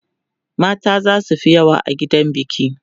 mata zasu Fi yawa a gidan biki